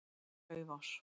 Laufás